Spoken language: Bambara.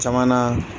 Caman na